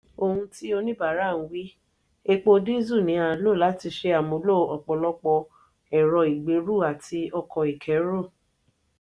òhun tí oníbàárà ń wí: epo díìsẹ̀l ni a ń lò láti ṣe àmúlò ọ̀pọ̀lọpọ̀ ẹ̀rọ ìgbéru àti ọkọ̀ ìkéru.